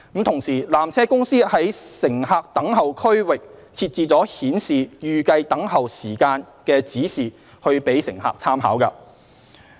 同時，纜車公司在乘客等候區域設置了顯示預計候車時間的指示以供乘客參考。